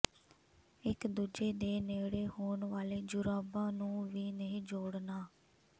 ਇਕ ਦੂਜੇ ਦੇ ਨੇੜੇ ਹੋਣ ਵਾਲੇ ਜੁਰਾਬਾਂ ਨੂੰ ਵੀ ਨਹੀਂ ਜੋੜਨਾ